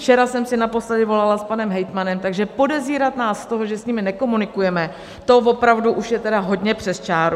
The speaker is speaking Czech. Včera jsem si naposledy volala s panem hejtmanem, takže podezírat nás z toho, že s nimi nekomunikujeme, to opravdu už je tedy hodně přes čáru.